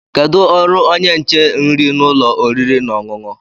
Kedu ọrụ onye nche nri n'ụlọ oriri na ọṅụṅụ?